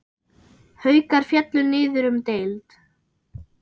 Haukar féllu niður um deild.